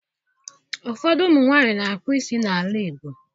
Ụfọdụ ụmụ nwaanyị na-akpụ isi n'ala Igbo